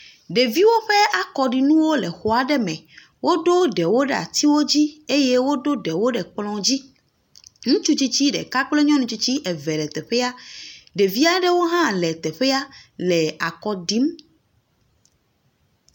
Ɖeviwo ƒe akɔɖinuwo le xɔ aɖe me. Woɖo ɖewo ɖe atsiwo dzi eye woɖo ɖewo ɖe kplɔ̃ dzi. Ŋutsu tsitsi ɖeka kple nyɔnu tsitsi eve le teƒe. Ɖevi aɖewo hã le teƒea le akɔɖim.